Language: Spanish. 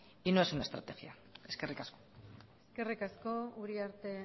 y no es una estrategia eskerrik asko eskerrik asko uriarte